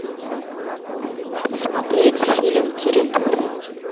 посмотреть фильм территория